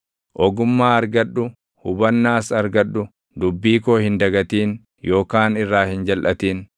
Ogummaa argadhu; hubannaas argadhu; dubbii koo hin dagatin yookaan irraa hin jalʼatin.